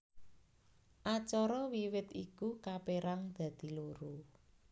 Acara wiwit iku kapérang dadi loro